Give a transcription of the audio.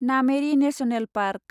Nameri national park